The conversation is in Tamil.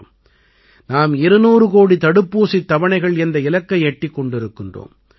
ஆனால் ஆறுதல் அளிக்கும் விஷயம் என்னவென்றால் இன்று தேசத்திடம் தடுப்பூசி என்ற வலுவான பாதுகாப்புக் கவசம் இருக்கிறது